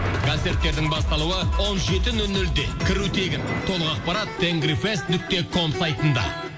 концерттердің басталуы он жеті нөл нөлде кіру тегін толық ақпарат тенгри фест нүкте ком сайтында